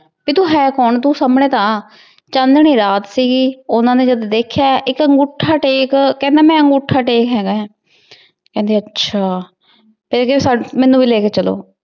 ਤੂ ਹੈ ਕੋੰ ਤੂ ਸਮਨੇ ਤਾਂ ਆ ਚੰਨੀ ਰਾਤ ਸੀਗੀ ਓਹਨਾ ਨੇ ਜਦੋਂ ਦੇਖ੍ਯਾ ਏਇਕ ਅਨ੍ਗੋਥਾ ਟੇਕ ਕਹੰਦਾ ਮੈਂ ਅਨ੍ਗੋਥਾ ਟੇਕ ਹੇਗਾ ਕੇਹੰਡੀ ਆਚਾ ਤੇ ਮੇਨੂ ਵੀ ਲੇ ਕੇ ਚਲੋ